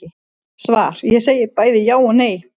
Svar Ég segi bæði já og nei.